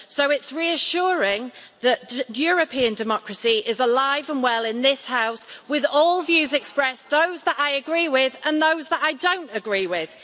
So it's reassuring that European democracy is alive and well in this House, with all views expressed, those that I agree with and those that I don't agree with.